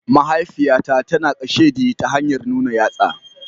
Mahaifiyata tana kasheɗi ta hanyar nuna yatsa.